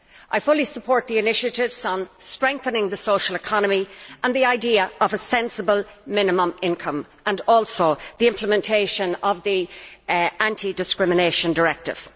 I fully support the initiatives on strengthening the social economy and the idea of a sensible minimum income, and also the implementation of the Anti discrimination Directive.